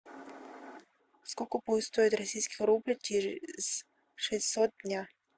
сколько будет стоить российский рубль через шестьсот дня